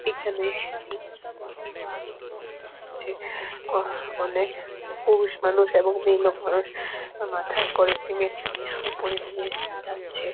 এইখানে সিতে নতুন তৈরী করা হচ্ছে | অনেক পুরুষ মানুষ এবং মেয়েলোক মানুষ মাথায় করে সিমেন্ট নিয়ে ওপরে নিয়ে যাচ্ছে ।